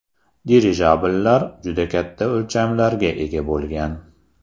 Dirijabllar juda katta o‘lchamlarga ega bo‘lgan.